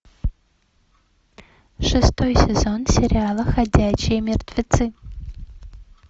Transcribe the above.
шестой сезон сериала ходячие мертвецы